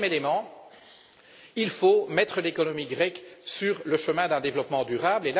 Troisièmement, il faut mettre l'économie grecque sur le chemin d'un développement durable.